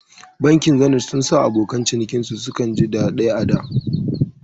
Bankin Zenith sun sa abokan cinikin su suka ji daɗai ada